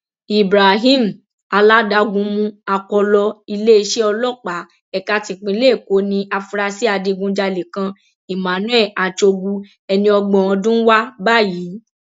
ibrahim aládagunmu akọlọ iléeṣẹ ọlọpàá ẹka tipinlẹ èkó ní àfúrásì adigunjalè kan emmanuel achogwu ẹni ọgbọn ọdún wa báyìí